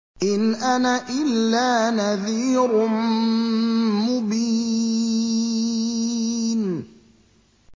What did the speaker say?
إِنْ أَنَا إِلَّا نَذِيرٌ مُّبِينٌ